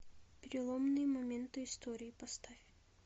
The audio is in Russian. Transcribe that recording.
переломные моменты истории поставь